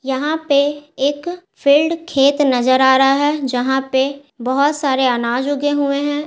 यहाँ पे एक फील्ड खेत नजर आ रहा है जहाँ पे बहुत सारे अनाज उगे हुए हैं।